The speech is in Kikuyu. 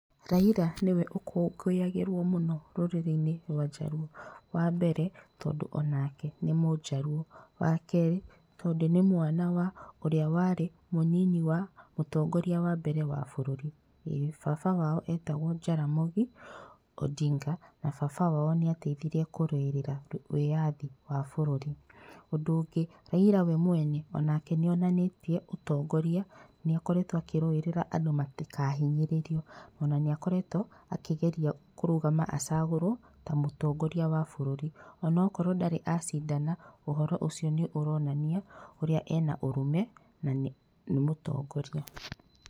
Raila niwe ũkũngũyagĩrwo mũno rũrĩrĩinĩ rwa Jaluo wambere tondũ onake nĩ mũjaruo, wakerĩ tondũ nĩ mwana wa ũrĩa warĩ mũnini wa mũtongoria wa mbere wa bũrũri baba wao etagwo Jaramogi Odinga na baba wao nĩateithirĩirie kũrũĩrĩra andũ wĩathi wa bũrũri. Ũndũ ũngĩ Raila wee mwene onake nĩonanĩtie ũtongoria nĩakoretwo akĩrũĩrĩra andũ matikahinyĩrĩrio ona nĩakoretwo akigeria kũrũgama acagũrwo ta mũtongoria wa bũrũri, onakorwo ndarĩ acindana ũhoro ũcio nĩ ũronania ũrĩa arĩ na ũrũme na nĩ mũtongoria.